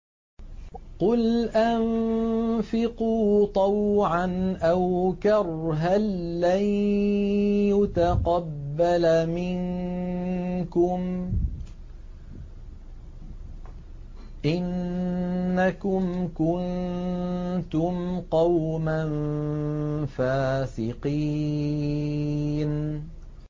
قُلْ أَنفِقُوا طَوْعًا أَوْ كَرْهًا لَّن يُتَقَبَّلَ مِنكُمْ ۖ إِنَّكُمْ كُنتُمْ قَوْمًا فَاسِقِينَ